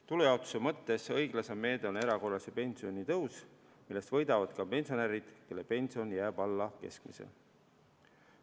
Tulujaotuse mõttes õiglasem meede on erakorraline pensionitõus, millest võidavad ka pensionärid, kelle pension jääb alla keskmise.